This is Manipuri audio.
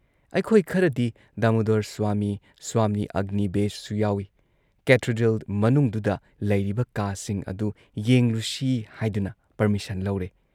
ꯑꯩꯈꯣꯏ ꯈꯔꯗꯤ ꯗꯥꯃꯨꯗꯣꯔ ꯁ꯭ꯋꯥꯃꯤ, ꯁ꯭ꯋꯥꯃꯤ ꯑꯒꯅꯤ ꯕꯦꯁꯁꯨ ꯌꯥꯎꯏ ꯀꯦꯊꯦꯗ꯭ꯔꯦꯜ ꯃꯅꯨꯡꯗꯨꯗ ꯂꯩꯔꯤꯕ ꯀꯥꯁꯤꯡ ꯑꯗꯨ ꯌꯦꯡꯂꯨꯁꯤ ꯍꯥꯏꯗꯨꯅ ꯄꯔꯃꯤꯁꯟ ꯂꯧꯔꯦ ꯫